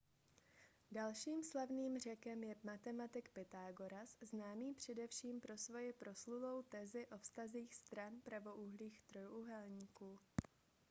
dalším slavným řekem je matematik pythagoras známý především pro svoji proslulou tezi o vztazích stran pravoúhlých trojúhelníků